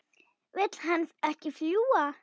Vill hann ekki fljúga?